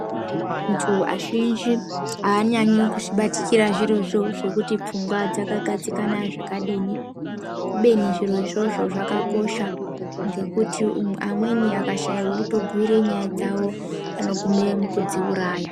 Anthu azhinji aanyanyi kuzvibatikira zvirozvo zvekuti pfungwa dzakagadzikana zvakadini kubeni zviro izvozvo zvakakosha ngekuti qmweni akashayq wekubhiira nyaya dzao anogume mukuzviuraya.